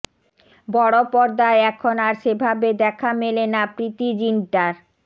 বড়পর্দায় এখন আর সেভাবে দেখা মেলে না প্রীতি জিন্টার